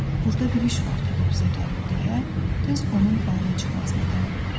burda bir iş var ki, bu bizə gəlib deyə, tez onun bayıra çıxmasını tələb etdi.